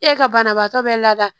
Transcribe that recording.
E ka banabaatɔ bɛ lada